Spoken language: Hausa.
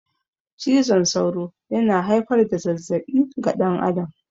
Cizon sauro yana haifar da zazzabi ga dan adam